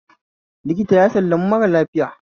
Likita ya sallami mara lafiya